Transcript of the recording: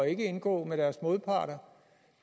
ikke indgå med deres modparter